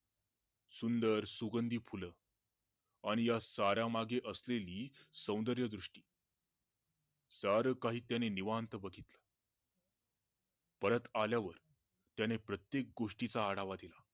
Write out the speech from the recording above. सुंदर सुगंधी फुल आणी हा साऱ्या मागे असलेली सौन्दर्य दृष्टी सार काही त्याने निवांत बघितल परत आल्यावर त्याने प्रत्येक गोष्टीचा आढावा दिला